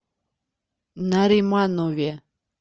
нариманове